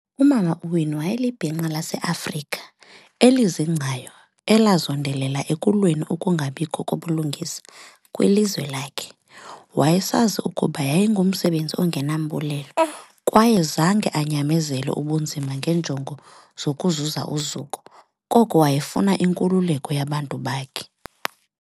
Umama u-Winnie wayelibhinqa lase-Afrika elizingcayo elazondelela ekulweni ukungabikho kobulungisa kwilizwe lakhe. Wayesazi ukuba yayingumsebenzi ongenambulelo kwaye zange anyamezele ubunzima ngeenjongo zokuzuza uzuko, koko wayefuna inkululeko yabantu bakhe.